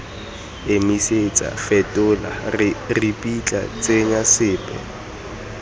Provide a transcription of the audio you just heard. emisetsa fetola ripitla tsenya sepe